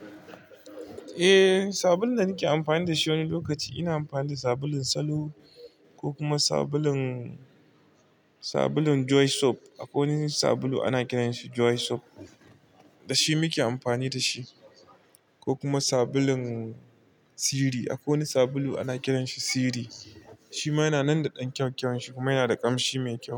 Eh, sabulun da nake amfani da shi wani lokaci ina amfani da sabulun salo ko kuma sabulun, sabulun Joy soap. Akwai wani sabulu ana kiranshi Joy soap, da shi muke amfani da shi ko kuma sabulun Siri. Akwai wani sabulu ana kiranshi Siri, shi ma yana nan da ɗan kyau-kyan shi kuma yana da ƙamshi mai kyau.